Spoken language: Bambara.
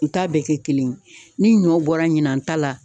U ta bɛɛ kɛ kelen ye ni ɲɔ bɔra ɲinan ta la